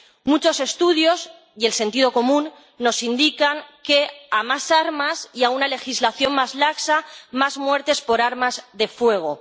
Muchos estudios y el sentido común nos indican que a más armas y a una legislación más laxa más muertes por armas de fuego.